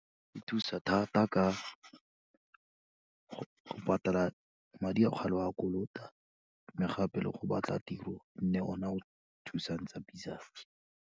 Di thusa thata ka go patala madi a o kgale o a kolota, mme gape le go batla tiro e nne ona a o thusang tsapi-tsapi.